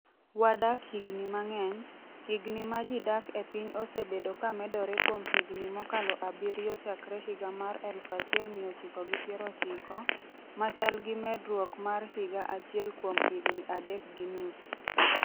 Wadak higni mang’eny, Higni ma ji dak e piny osebedo ka medore kuom higni mokalo abiriyo chakre higa mar 1990, ma chal gi medruok mar higa achiel kuom higni adek gi nus.